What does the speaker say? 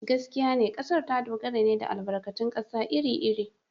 Gaskiya ne, kasar ta dogara ne da albarkatun kasa iri-iri.